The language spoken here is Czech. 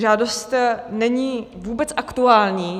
Žádost není vůbec aktuální.